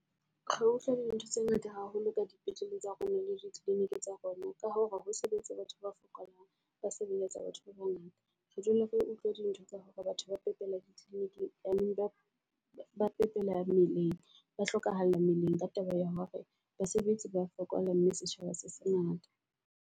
Ho utlwa di ntho tse ngata haholo ka di petlele tsa rona le di clinic tsa rona, ka hore ho sebetsa batho ba fokolang ba sebeletsa batho ba bangata. Re dule re utlwe di ntho tsa hore batho ba pepela di kliniking ba ba pepela meleng. Ba hlokahala meleng ka taba ya hore basebetsi ba fokola, mme setjhaba se se ngata.